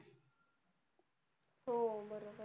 हो बरोबर.